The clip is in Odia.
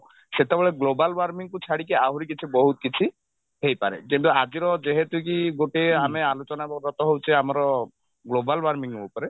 ସେତେବେଳେ global warming କୁ ଛାଡିକି ଆହୁରି କିଛି ବହୁତ କିଛି ହେଇପାରେ କିନ୍ତୁ ଆଜିର ଯେହେତୁ କି ଗୋଟେ ଆମେ ଆଲୋଚନାରତ ହଉଛେ ଆମର global warming ଉପରେ